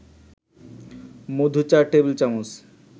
মধু ৪ টেবিল-চামচ